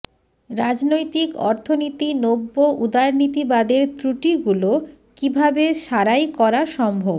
রাজনৈতিক অর্থনীতি নব্য উদারনীতিবাদের ত্রুটিগুলো কীভাবে সারাই করা সম্ভব